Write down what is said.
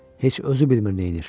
Heç özü bilmir nə edir.